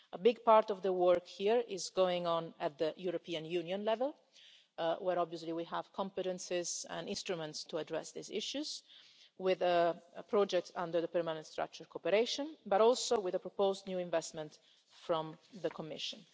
A big part of the work here is going on at European Union level, where obviously we have competencies and instruments to address these issues, with a project under the permanent structured cooperation, as well as with the proposed new investment from the Commission.